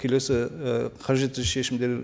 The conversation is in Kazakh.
келесі і қажетті шешімдер